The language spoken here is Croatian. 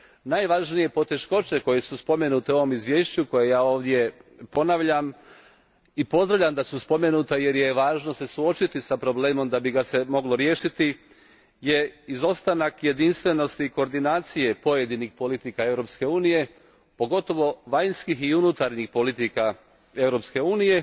Najvažnije poteškoće koje su spomenute u ovom izvješću, koje ja ovdje ponavljam i pozdravljam da su spomenuta jer je važno suočiti se s problemom da bi ga se moglo riješiti, izostanak je jedinstvenosti i koordinacije pojedinih politika Europske unije, pogotovo vanjskih i unutarnjih politika Europske unije